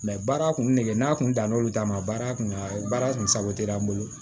baara kun degelen n'a kun da n'olu ta ma baara kunkan baara kun sago tɛ an bolo